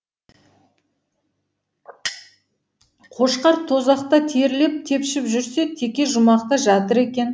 қошқар тозақта терлеп тепшіп жүрсе теке жұмақта жатыр екен